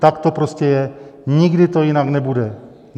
Tak to prostě je, nikdy to jinak nebude.